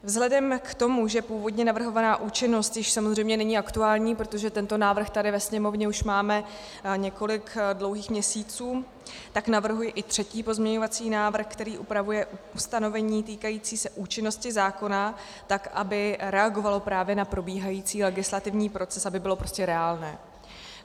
Vzhledem k tomu, že původně navrhovaná účinnost již samozřejmě není aktuální, protože tento návrh tady ve Sněmovně už máme několik dlouhých měsíců, tak navrhuji i třetí pozměňovací návrh, který upravuje ustanovení týkající se účinnosti zákona tak, aby reagovalo právě na probíhající legislativní proces, aby bylo prostě reálné.